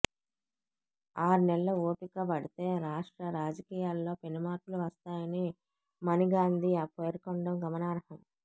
ఆర్నెళ్లు ఓపికపడితే రాష్ట్ర రాజకీయాల్లో పెనుమార్పులు వస్తాయని మణిగాంధీ పేర్కొనడం గమనార్హం